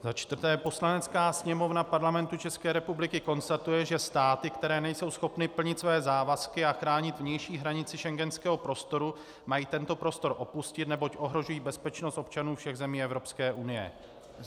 Za čtvrté: Poslanecká sněmovna Parlamentu České republiky konstatuje, že státy, které nejsou schopny plnit své závazky a chránit vnější hranici schengenského prostoru, mají tento prostor opustit, neboť ohrožují bezpečnost občanů všech zemí Evropské unie.